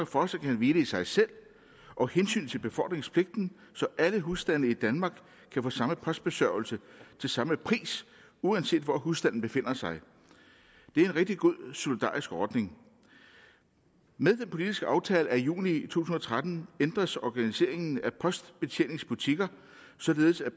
fortsat kan hvile i sig selv og hensynet til befordringspligten så alle husstande i danmark kan få samme postbesørgelse til samme pris uanset hvor husstanden befinder sig det er en rigtig god solidarisk ordning med den politiske aftale af juni to tusind og tretten ændres organiseringen af postbetjeningsbutikker således at